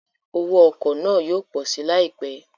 Owó ọkọ̀ náà yóò pọ̀ si láìpẹ́